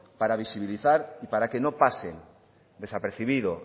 para visibilizar y para que no pase desapercibido